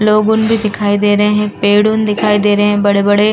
लोगुन भी दिखाई दे रहे हैं। पेडुन दिखाई दे रहे हैं बड़े-बड़े।